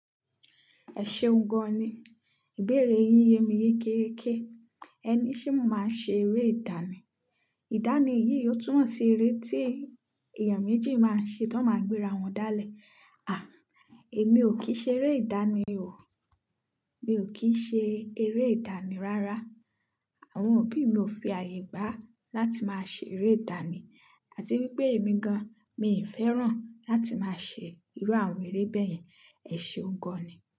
Ẹ ṣeun gan-an ni, ìbéèrè yín yẹ mi yékèyèké. Ẹ ni ṣe mo máa ń ṣe eré ìdánì? Ìdánì yìí ó túnmọ̀ sí eré tí ee, èèyàn méjì máa ń ṣe tó máa ń gbéra wọn dálẹ̀. À, èmi ò kí ṣe eré ìdánì o. Mi ò kí ṣe eré ìdánì rárá. Àwọn òbí mi ò fi àyè gba láti máa ṣe eré ìdánì, àti wípé èmi gan-an mi fẹ́ràn láti máa ṣe irú àwọn eré bẹ́ẹ̀ yẹn. Ẹ ṣeun gan-an ni.